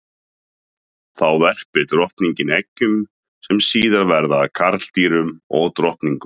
Þá verpir drottningin eggjum sem síðar verða að karldýrum og drottningum.